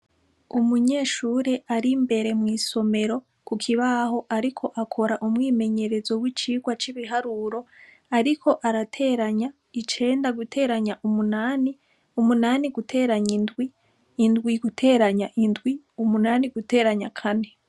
Umunyeshure ar'imbere mw'isomero ku kibaho ariko akora umwimenyerezo w'icigwa c'ibiharuro ariko arateranya icenda guteranya umunani, umunani guteranya indwi, indwi guteranya indwi, umunani guteranya kane.